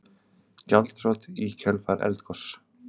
Gjaldþrot í kjölfar eldgoss